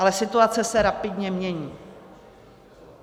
Ale situace se rapidně mění.